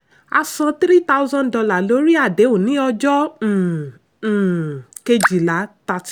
a san three thousand dollar lórí àdéhùn ní ọjọ́ um um kejìlá.